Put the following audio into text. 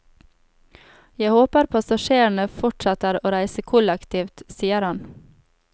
Jeg håper passasjerene fortsetter å reise kollektivt, sier han.